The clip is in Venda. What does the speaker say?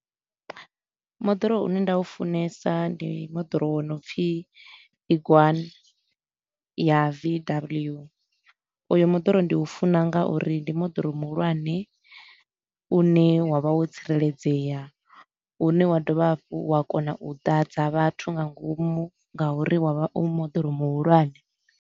Moḓoro u ne nda u funesa ndi moḓoro wo no pfi Tiguan ya V_W, u yu moḓoro ndi u funa nga uri ndi moḓoro muhulwane u ne wa vha wo tsireledzea, u ne wa dovha hafhu wa kona u ḓadza vhathu nga ngomu nga uri wa vha u moḓoro muhulwane.